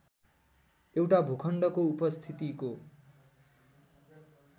एउटा भूखण्डको उपस्थितिको